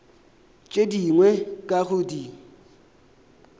tše dingwe ka go di